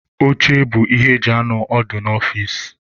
Oche bụ ihe eji anọ ọdụ n'ọfici.